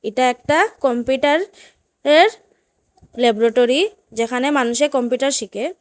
এটা একটা কম্পিটার এর ল্যাবরোটরি যেখানে মানুষে কম্পিটার শিখে।